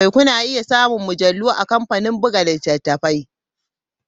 Kuna iya samun mujallu a kamfanin buga littattafai.